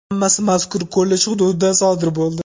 Hammasi mazkur kollej hududida sodir bo‘ldi.